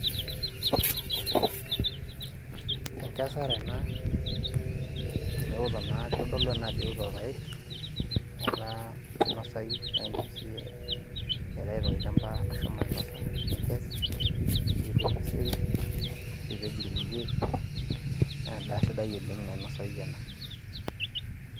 Enkesare ena amu eoto naa, amu kitodolu ajo eoto irpaek. Etaa kinosayu naidim siyie aitayu tolchamba ashomo ainosa nikes, niyieru orkeseri, nipej irkulie, na endaa sidai oleng nainosayu ena.